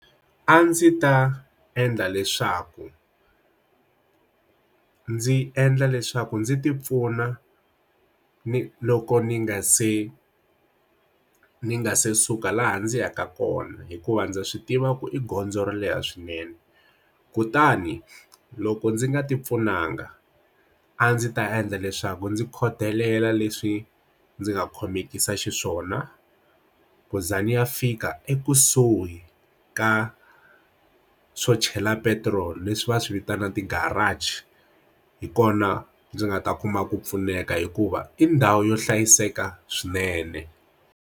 A ndzi ta endla leswaku ndzi endla leswaku ndzi ti pfuna ni loko ni nga se ni nga se suka laha ndzi yaka kona hikuva ndza swi tiva ku i gondzo ro leha swinene kutani loko ndzi nga ti pfunanga a ndzi ta endla leswaku ndzi khodelela leswi ndzi nga khomekiseke xiswona khuza ni ya fika ekusuhi hi ka swo chela petiroli leswi va swi vitana ti-garage hi kona ndzi nga ta kuma ku pfuneka hikuva i ndhawu yo hlayiseka swinene.